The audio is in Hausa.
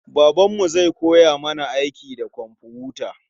Babanmu zai koya mana aiki da komfuta.